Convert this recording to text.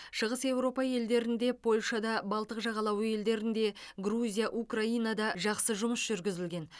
шығыс еуропа елдерінде польшада балтық жағалауы елдерінде грузия украинада жақсы жұмыс жүргізілген